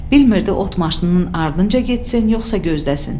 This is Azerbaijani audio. Bilmiridi ot maşınının ardınca getsin, yoxsa gözləsin.